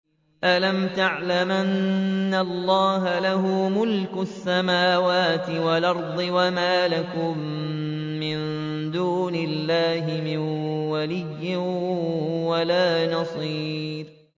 أَلَمْ تَعْلَمْ أَنَّ اللَّهَ لَهُ مُلْكُ السَّمَاوَاتِ وَالْأَرْضِ ۗ وَمَا لَكُم مِّن دُونِ اللَّهِ مِن وَلِيٍّ وَلَا نَصِيرٍ